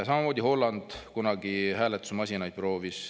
Samamoodi proovis Holland kunagi hääletusmasinaid.